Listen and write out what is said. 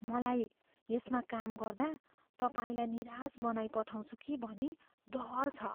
मलाई यसमा काम गर्दा तपाईँलाई निराश बनाइपठाउँछु कि भनी डर छ।